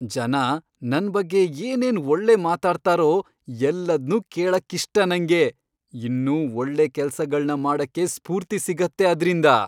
ಜನ ನನ್ ಬಗ್ಗೆ ಏನೇನ್ ಒಳ್ಳೆ ಮಾತಾಡ್ತಾರೋ ಎಲ್ಲದ್ನೂ ಕೇಳಕ್ಕಿಷ್ಟ ನಂಗೆ. ಇನ್ನೂ ಒಳ್ಳೆ ಕೆಲ್ಸಗಳ್ನ ಮಾಡಕ್ಕೆ ಸ್ಫೂರ್ತಿ ಸಿಗತ್ತೆ ಅದ್ರಿಂದ.